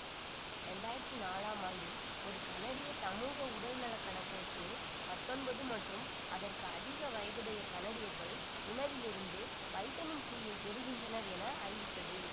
இரண்டு ஆயிரத்தி நாலாம் ஆண்டில் ஒரு கனடிய சமூக உடல்நல கணக்கெடுப்பு பத்தொன்பது மற்றும் அதற்கு அதிக வயதுடைய கனடியர்கள் உணவிலிருந்து வைட்டமின் சியை பெறுகின்றனர் என அறிவித்தது